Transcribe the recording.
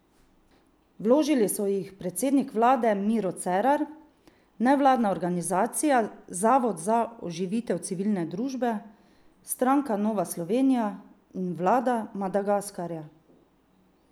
Vložili so jih predsednik vlade Miro Cerar, nevladna organizacija Zavod za oživitev civilne družbe, stranka Nova Slovenija in vlada Madagaskarja.